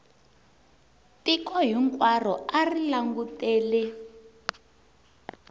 tiko hinkwaro a ri langutele